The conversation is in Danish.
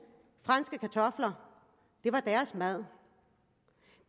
franske kartofler det var deres mad